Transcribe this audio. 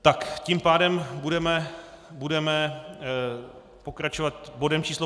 Tak tím pádem budeme pokračovat bodem číslo